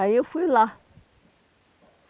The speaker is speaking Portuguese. Aí eu fui lá.